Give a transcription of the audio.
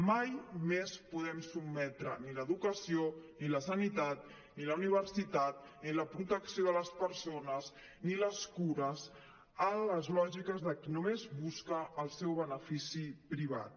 mai més podem sotmetre ni l’educació ni la sanitat ni la universitat ni la protecció de les persones ni les cures a les lògiques de qui només busca el seu benefici privat